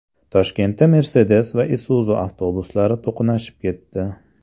Toshkentda Mercedes va Isuzu avtobuslari to‘qnashib ketdi.